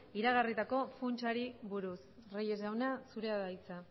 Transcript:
iragarritako funtsari buruz reyes jauna zurea da hitza